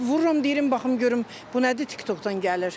Vururam deyirəm baxım görüm bu nədir TikTokdan gəlir.